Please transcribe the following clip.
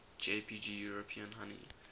jpg european honey